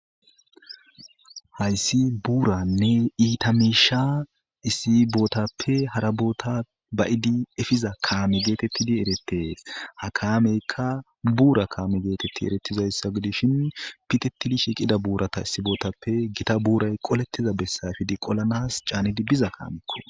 Hayssi buuranne iitamiisha issibootappe haraboota bayidi efiza kaame geetettidi eretees ha kaameykka buura kaame geetetti eretizayssa gidishin pitetidi shiqida buurata issibootappe gita buuray qolettiza bessayfidi qolanas caanidi biza kaamekko.